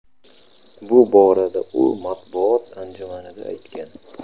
Bu borada u matbuot anjumanida aytgan.